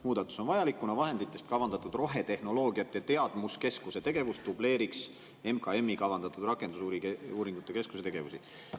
Muudatus on vajalik, kuna vahenditest kavandatud rohetehnoloogiate teadmuskeskuse tegevus dubleeriks Majandus- ja Kommunikatsiooniministeeriumi kavandatud rakendusuuringute keskuse tegevusi.